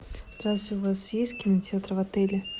здрасте у вас есть кинотеатр в отеле